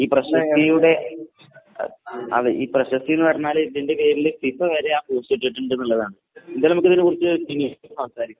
പ്രശസ്തിയുടെ ഈ പ്രശസ്തി എന്ന് പറഞ്ഞാൽ ഇതിന്റെ പേരിൽ ഫിഫവരെ